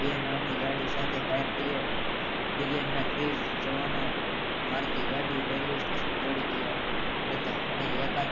બે નાની ગાડી સાથે ફાયર બ્રિગેડ બ્રિગેડના ત્રીસ જવાનો મારતી ગાડી રેલવે સ્ટેશન દોડી ગયા હતા. અને એકાદ.